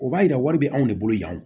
O b'a yira wari bɛ anw de bolo yan